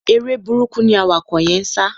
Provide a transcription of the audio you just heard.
Eré burúkú ni awakọ̀ yẹ́n ń sá.